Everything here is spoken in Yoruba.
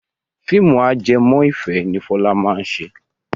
Fíìmù ajẹmọ́ ìfẹ́ ni Fọlá máa ṣe.